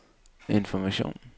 information